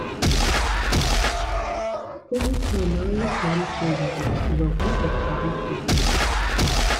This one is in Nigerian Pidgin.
everytime na only kamto you go dey flog what of kamsi